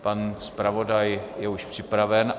Pan zpravodaj je už připraven.